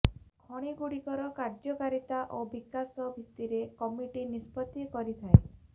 ଖଣିଗୁଡ଼ିକର କାର୍ଯ୍ୟକାରିତା ଓ ବିକାଶ ଭିତିରେ କମିଟି ନିଷ୍ପତି କରିଥାଏ